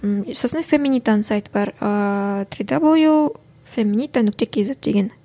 ммм сосын феминитаның сайты бар ыыы три даблю феминита нүкте кейзет деген